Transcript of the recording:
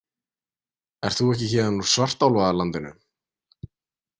Ert þú ekki héðan úr svartálfalandinu?